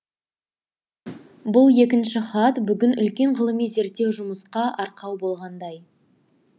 бұл екінші хат бүгін үлкен ғылыми зерттеу жұмысқа арқау болғандай